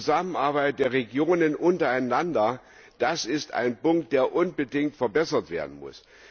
Die Zusammenarbeit der Regionen untereinander, das ist ein Punkt, der unbedingt verbessert werden muss.